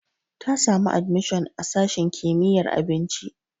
Ta samu admishon a sashin kimiyyar abinci.